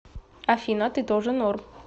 афина ты тоже норм